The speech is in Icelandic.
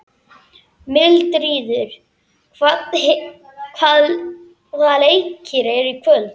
Mildríður, hvaða leikir eru í kvöld?